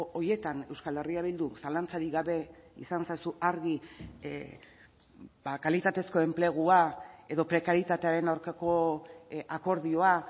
horietan euskal herria bildu zalantzarik gabe izan ezazu argi kalitatezko enplegua edo prekarietatearen aurkako akordioa